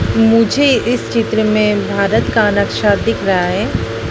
मुझे इस चित्र में भारत का नक्शा दिख रहा है।